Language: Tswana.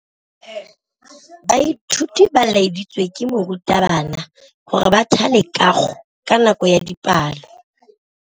Baithuti ba laeditswe ke morutabana gore ba thale kagô ka nako ya dipalô.